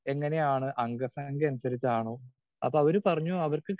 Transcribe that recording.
Speaker 2 എങ്ങനെയാണ് അംഗസംഖ്യ അനുസരിച്ചാണോ? അപ്പോ അവര് പറഞ്ഞു അവർക്ക്